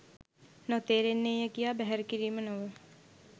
නොතේරෙන්නේය කියා බැහැර කිරීම නොව